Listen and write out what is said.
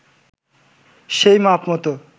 সেই মাপ মতো